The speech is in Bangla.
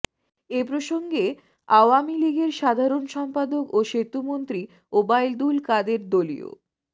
এ প্রসঙ্গে আওয়ামী লীগের সাধারণ সম্পাদক ও সেতুমন্ত্রী ওবায়দুল কাদের দলীয়